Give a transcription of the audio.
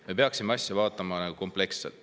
Me peaksime asja vaatama kompleksselt.